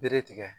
Bere tigɛ